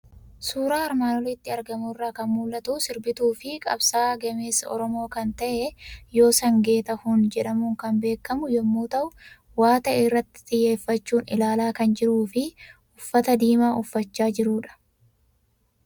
Suuraa armaan olitti argamu irraa kan mul'atu; sirbituufi qabsaa'aa gameessa Oromoo kan ta'ee, Yoosan Geetahuun jedhamuun kan beekamu yommuu ta'u, waa ta'e irratti xiyyeeffachuun ilaala kan jirufi uffata diimaa uffachaa jirudha.